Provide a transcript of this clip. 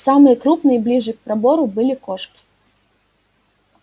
самые крупные ближе к пробору были кошки